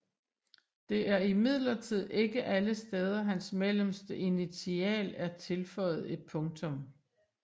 Det er imidlertid ikke alle steder hans mellemste initial er tilføjet et punktum